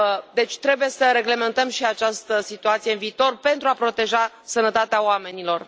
Deci, trebuie să reglementăm și această situație în viitor, pentru a proteja sănătatea oamenilor.